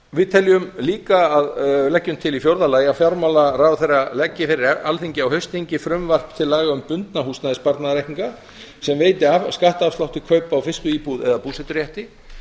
við teljum líka að leggjum til í fjórða lagi að fjármálaráðherra leggi fyrir alþingi á haustþingi frumvarp til laga um bundna húsnæðissparnaðarreikninga sem veiti skattafslátt til kaupa á fyrstu íbúð eða búseturétti